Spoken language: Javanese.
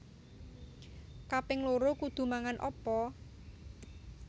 Kaping loro kudu mangan opo?